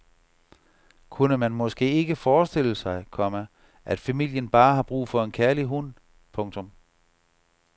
Kunne man måske ikke forestille sig, komma at familien bare har brug for en kærlig hund. punktum